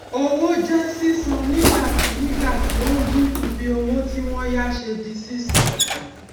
owó jẹ sísan nígbàtí nígbàtí ó ń dínkù bí owó tí wọn yá ṣe di sísan